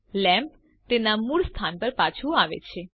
lamp તેના મૂળ સ્થાન પર પાછુ આવે છે